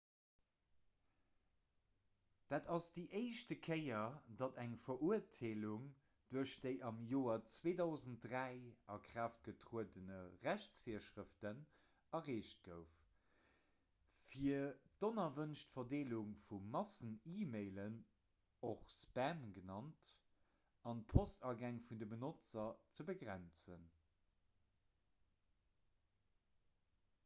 dat ass déi éischt kéier datt eng verurteelung duerch déi am joer 2003 a kraaft getruede rechtsvirschrëften erreecht gouf fir d'onerwënscht verdeelung vu massen-e-mailen och spam genannt an d'postagäng vun de benotzer ze begrenzen